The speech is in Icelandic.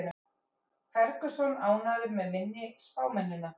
Ferguson ánægður með minni spámennina